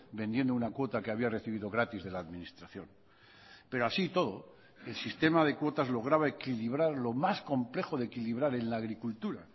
vendiendo una cuota que había recibido gratis de la administración pero así todo el sistema de cuotas lograba equilibrar lo más complejo de equilibrar en la agricultura